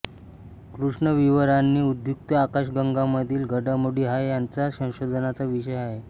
कृष्णविवरांनी उद्युक्त आकाशगंगांमधील घडामोडी हा यांचा संशोधनाचा विषय आहे